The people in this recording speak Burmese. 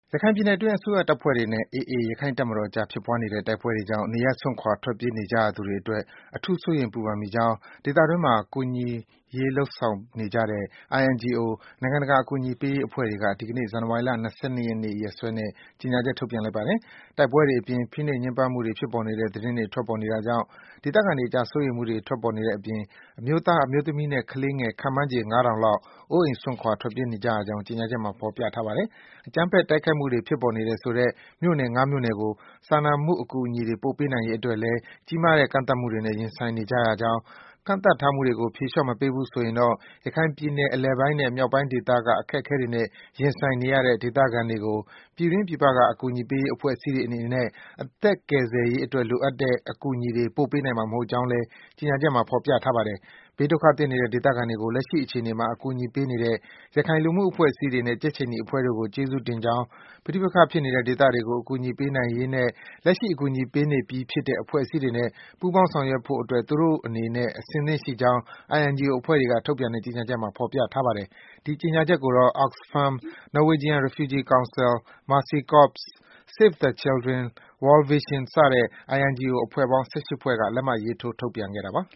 ရခိုင်ပြည်နယ်အတွင်း အစိုးရတပ်ဖွဲ့တွေနဲ့ AA ရခိုင့်တပ်မတော်အကြား ဖြစ်ပွားနေတဲ့ တိုက်ပွဲတွေကြောင့် နေရပ်စွန့်ခွာ ထွက်ပြေး နေကြရသူတွေအတွက် အထူး စိုးရိမ် ပူပန်မိကြောင်း ဒေသအတွင်းမှာ ကူညီရေးလုပ်ငန်းတွေ လုပ်ဆောင်နေကြတဲ့ INGO နိုင်ငံတကာ အကူအညီပေးရေး အဖွဲ့တွေက ဒီကနေ့ ဇန်နဝါရီလ ၂၂ ရက်နေ့ ရက်စွဲနဲ့ ကြေညာချက် ထုတ်ပြန်လိုက်ပါတယ်။ တိုက်ပွဲတွေအပြင် ဖိနှိပ် ညှဉ်းပန်းမှုတွေ ဖြစ်ပေါ်နေတဲ့ သတင်းတွေ ထွက်ပေါ်နေတာကြောင့် ဒေသခံတွေအကြား စိုးရိမ်မှုတွေ ထွက်ပေါ်နေတဲ့အပြင် အမျိုးသား၊ အမျိုးသမီးနဲ့ ကလေးငယ် ခန့်မှန်းခြေ ၅ ထောင်လောက် အိုးအိမ် စွန့်ခွာ ထွက်ပြေးနေကြရကြောင်း ကြေညာချက်မှာ ဖော်ပြထားပါတယ်။ အကြမ်းဖက် တိုက်ခိုက်မှုတွေ ဖြစ်ပေါ်နေတယ်ဆိုတဲ့ မြို့နယ် ၅ မြို့နယ်ကို စာမှုအကူအညီတွေ ပို့ပေးနိုင်ရေးအတွက်လည်း ကြီးမားတဲ့ ကန့်သတ်မှုတွေနဲ့ ရင်ဆိုင်နေရကြောင်း၊ ကန့်သတ်ထားမှုတွေကို ဖြေလျော့ မပေးဘူးဆိုရင်တော့ ရခိုင်ပြည်နယ် အလယ်ပိုင်းနဲ့ မြောက်ပိုင်းဒေသက အခက်အခဲတွေနဲ့ ရင်ဆိုင်နေရတဲ့ ဒေသခံတွေကို ပြည်တွင်း၊ ပြည်ပက အကူအညီပေးရေး အဖွဲ့အစည်းတွေ အနေနဲ့ အသက်ကယ်ဆယ်ရေးအတွက် လိုအပ်တဲ့ အကူအညီတွေ ပို့ပေးနိုင်မှာ မဟုတ်ကြောင်းလည်း ကြေညာချက်မှာ ဖော်ပြထားပါတယ်။ ဘေးဒုက္ခသင့်နေတဲ့ ဒေသခံတွေကို လက်ရှိ အခြေအနေမှာ အကူအညီပေးနေတဲ့ ရခိုင် လူမှုအဖွဲ့အစည်းတွေနဲ့ ကြက်ခြေနီအဖွဲ့တို့ကို ကျေးဇူးတင်ကြောင်း၊ ပဋိပက္ခဖြစ်နေတဲ့ ဒေသတွေကို အကူအညီပေးနိုင်ရေးနဲ့ လက်ရှိ အကူအညီပေးနေပြီးဖြစ်တဲ့ အဖွဲ့အစည်းတွေနဲ့ ပူးပေါင်း ဆောင်ရွက်ရေးတို့အတွက် သူတို့အနေနဲ့ အစဉ်သင့် ရှိနေကြောင်း INGO အဖွဲ့တွေက ထုတ်ပြန်တဲ့ ကြေညာချက်မှာ ဖော်ပြထားပါတယ်။ ဒီကြေညာချက်ကိုတော့ Oxfam ၊ Norwegian Refugee Council ၊ Mercy Corps ၊ Save the Children ၊ World Vision စတဲ့ INGO အဖွဲ့ပေါင်း ၁၈ ဖွဲ့က လက်မှတ်ထိုး ထုတ်ပြန်ခဲ့တာပါ။